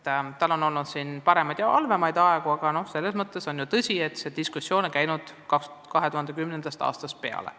Tugiteenuste tagamisel on olnud paremaid ja halvemaid aegu, aga tõsi on, et see diskussioon on käinud 2010. aastast peale.